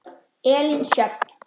Elín Sjöfn.